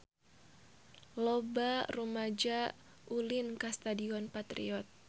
Loba rumaja ulin ka Stadion Patriot